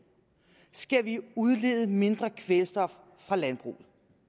skal vi udlede mindre kvælstof fra landbruget